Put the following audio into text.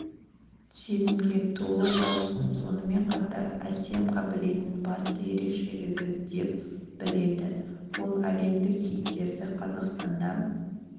сезімге толы даусын сонымен қатар әсем келбетін басты ерекшелігі деп біледі ол әлемдік хиттерді қазақстанда